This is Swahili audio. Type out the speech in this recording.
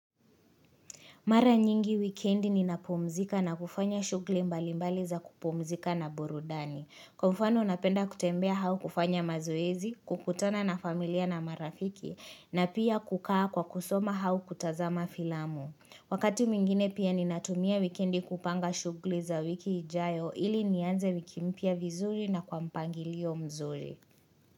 Mara nyingi wikendi ninapumzika na kufanya shugli mbalimbali za kupumzika na burudani. Kwa mfano napenda kutembea hau kufanya mazoezi, kukutana na familia na marafiki na pia kukaa kwa kusoma hau kutazama filamu. Wakati mwingine pia ninatumia wikendi kupanga shugli za wiki hijayo ili nianze wiki mpya vizuri na kwa mpangilio mzuri.